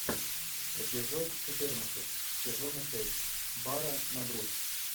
эпизод четырнадцать сезона шесть бара на грудь